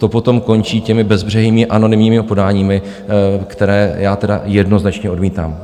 To potom končí těmi bezbřehými anonymními podáními, která já tedy jednoznačně odmítám.